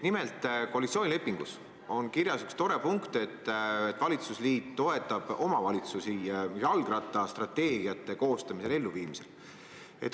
Nimelt, koalitsioonilepingus on kirjas tore punkt, et valitsusliit toetab omavalitsusi jalgrattastrateegiate koostamisel ja elluviimisel.